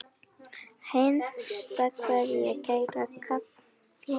HINSTA KVEÐJA Kæra Kalla mín.